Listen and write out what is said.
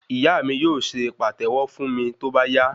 Ìyá mi yóò se pàtẹ́wọ́ fún mi tóbá yá